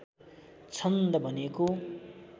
छन्द भनेको